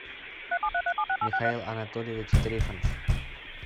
михаил анатольевич трифонов